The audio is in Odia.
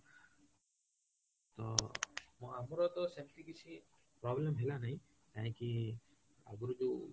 ତ ମୋ ଆମର ତ ସେମିତି କିଛି problem ହେଲା ନାହିଁ କାହିଁକି ଆଗରୁ ଯୋଉ